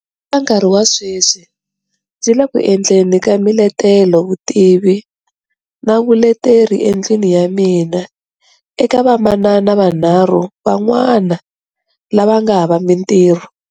Eka nkarhi wa sweswi ndzi le ku endleni ka miletelovutivi na vuleteri endlwini ya mina eka vamanana vanharhu van'wana lava nga hava mintirho.